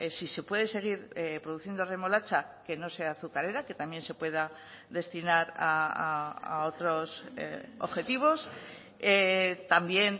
si se puede seguir produciendo remolacha que no sea azucarera que también se pueda destinar a otros objetivos también